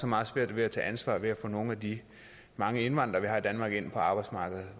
meget svært ved at tage ansvar ved at få nogle af de mange indvandrere vi har i danmark ind på arbejdsmarkedet